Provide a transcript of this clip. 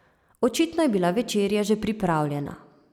Očitno je bila večerja že pripravljena.